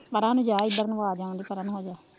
ਪਰਾ ਨੂੰ ਜਾ ਇੱਧਰ ਨੂੰ ਆਜਾਂਗੇ ਪਰ ਨੂੰ ਹੋਜਾ